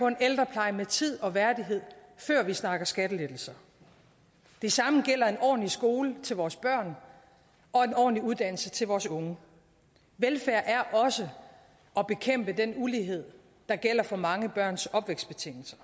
en ældrepleje med tid og værdighed før vi snakker skattelettelser det samme gælder en ordentlig skole til vores børn og en ordentlig uddannelse til vores unge velfærd er også at bekæmpe den ulighed der gælder for mange børns opvækstbetingelser